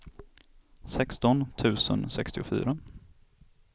sexton tusen sextiofyra